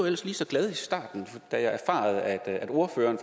ellers lige så glad i starten da jeg erfarede at ordføreren